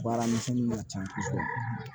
Baaramisɛnnin ka can kosɛbɛ